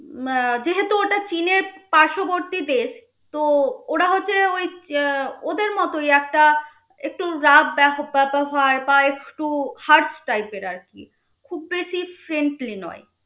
উম যেহেতু ওটা চীনের পার্শ্ববর্তী দেশ তো ওরা হচ্ছে ওই চ্যা~ ওদের মতই একটা একটু rough